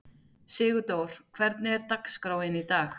Sigurdór, hvernig er dagskráin í dag?